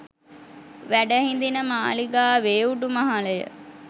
වැඩ හිඳින මාලිගාවේ උඩුමහල ය.